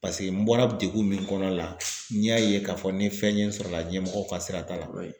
Paseke n bɔra degun min kɔnɔ la n y'a ye k'a fɔ ni fɛn ye n sɔrɔ o la ɲɛmɔgɔw ka sira t'a la.